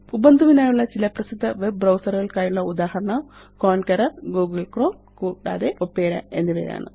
Ubuntu വിനായുള്ള ചില പ്രസിദ്ധ വെബ് ബ്രൌസർ കള്ക്കായുള്ള ഉദാഹരണം കോൺക്കറർ ഗൂഗിൾ ക്രോം കൂതാതെ ഒപേര എന്നിവയാണ്